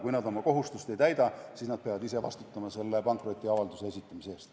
Kui nad aga oma kohustust ei täida, siis nad peavad ise vastutama pankrotiavalduse esitamise eest.